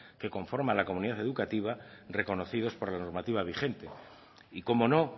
que conforman la comunidad educativa reconocidos por la normativa vigente y cómo no